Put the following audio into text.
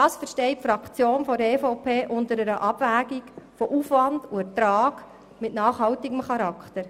Das versteht die Fraktion der EVP unter einer Abwägung von Aufwand und Ertrag mit nachhaltigem Charakter.